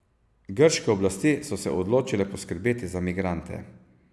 Grške oblasti so se odločile poskrbeti za migrante.